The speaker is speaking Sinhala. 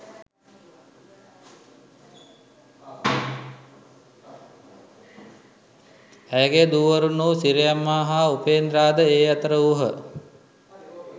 ඇයගේ දූවරුන් වූ සිරියම්මා හා උපේන්ද්‍රා ද ඒ අතර වූහ